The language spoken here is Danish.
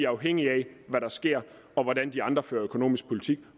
afhængige af hvad der sker og hvordan de andre fører økonomisk politik